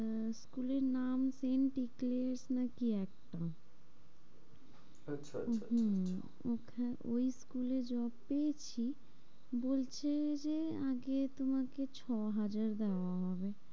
আহ school এর নাম saint ডিক্লিয়ার্স না কি একটা। আচ্ছা আচ্ছা ওখানে ওই school এ job পেয়েছি বলছে যে, আগে তোমাকে ছ হাজার দেওয়া হবে।